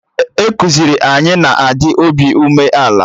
Ekuziri anyị na-adị obi umeala